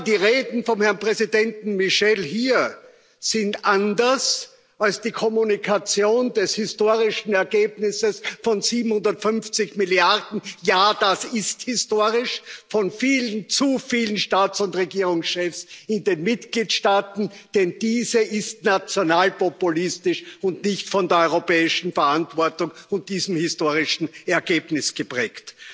Die Reden vom Herrn Präsidenten Michel hier sind anders als die Kommunikation des historischen Ergebnisses von 750 Milliarden ja, das ist historisch von vielen zu vielen Staats und Regierungschefs in den Mitgliedstaaten, denn diese ist nationalpopulistisch und nicht von der europäischen Verantwortung und diesem historischen Ergebnis geprägt.